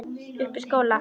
Uppi í skóla?